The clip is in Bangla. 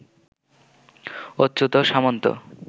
অচ্যুত সামন্ত